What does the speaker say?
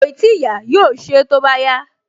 Kòì tíì yá, yóò ṣe é tó bá yá